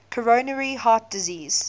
coronary artery disease